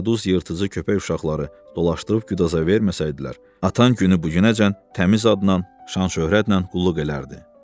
Dələduz yırtıcı köpək uşaqları dolaşdırıb qıdaza verməsəydilər, atan günü bu günəcən təmiz adnan, şan-şöhrətnən qulluq elərdi.